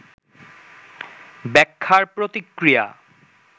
ব্যাখ্যার প্রতিক্রিয়া